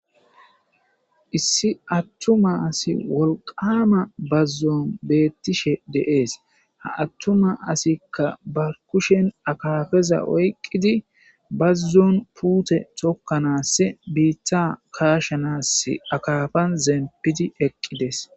issi attuma asi wolqama bazzon beettishe de'es, ha attuma asikka ba kushen akafeza oyqqidi bazzon puute tokkanass biitta kaashanas akafan zempidi eqqides